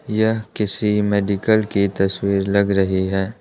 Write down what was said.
यह किसी मेडिकल की तस्वीर लग रही है।